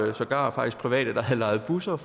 var sågar private der havde lejet busser